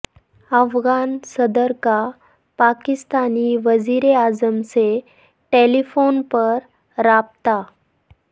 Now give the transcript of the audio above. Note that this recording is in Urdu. افغان صدر کا پاکستانی وزیر اعظم سے ٹیلی فون پر رابطہ